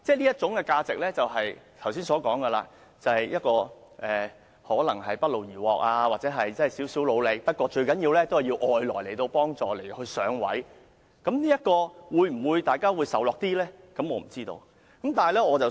這種價值即剛才所說的一種不勞而獲或只付出少許努力，但主要依賴外來幫助而"上位"的價值，這樣大家會否較易接受呢？